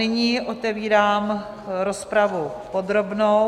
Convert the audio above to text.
Nyní otevírám rozpravu podrobnou.